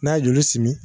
N'a ye joli simi